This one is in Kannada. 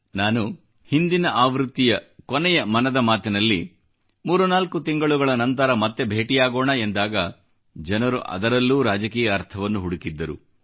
ನಾನು ಕೊನೆಯ ಹಂತದಲ್ಲಿ 34 ತಿಂಗಳುಗಳ ನಂತರ ಮತ್ತೆ ಭೇಟಿಯಾಗೋಣ ಎಂದಾಗ ಜನರು ಅದರಲ್ಲೂ ರಾಜಕೀಯ ಅರ್ಥವನ್ನು ಹುಡುಕಿದ್ದರು